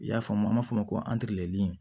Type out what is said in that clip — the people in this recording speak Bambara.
I y'a faamu an b'a fɔ ma ko